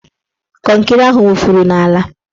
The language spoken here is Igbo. Kọnkịrị ahụ wufuru n'ala